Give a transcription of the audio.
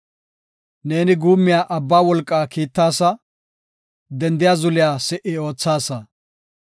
Neeni guummiya abba wolqaa kiittasa; dendiya zuliya si77i oothaasa.